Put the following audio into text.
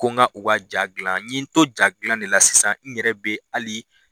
Ko n ka u ka ja dilan n ye n to jadilan de la sisan n yɛrɛ bɛ ali